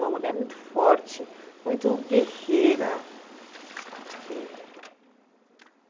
Uma mulher muito forte, muito guerreira. Eh